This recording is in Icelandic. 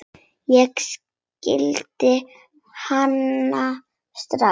Ég þekkti hana strax.